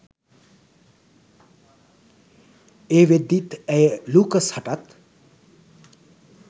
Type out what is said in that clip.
ඒ වෙද්දිත් ඇය ලූකස් හටත්